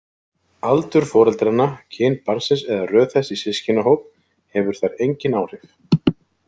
Aldur foreldranna, kyn barnsins eða röð þess í systkinahóp hefur þar engin áhrif.